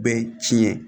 Bɛɛ tiɲɛ